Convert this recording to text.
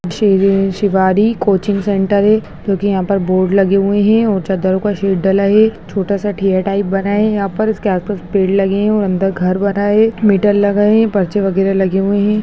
शेरे शिवारी coaching centre है जोकी यहाँ पर बोर्ड लगे हुए हैं और चदरों का शीट डला है छोटा सा ठेया टाइप बना है यहाँ पर इसके आसपास पेड़ लगे हैं और अंदर घर बना है मीटर लगा है पर्चे वगेरा लगे हैं।